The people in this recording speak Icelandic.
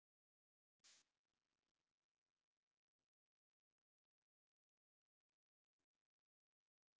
Nei! Það kom mér svolítið á óvart!